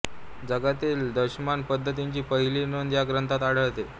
जगातील दशमान पद्धतीची पहिली नोंद या ग्रंथात आढळते